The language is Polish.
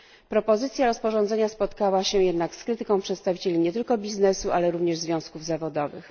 Propozycja rozporządzenia spotkała się jednak z krytyką przedstawicieli nie tylko biznesu, ale również związków zawodowych.